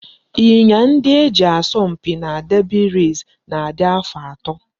Ịnyịnya ndị e ji asọ mpi na derby race na-adị afọ atọ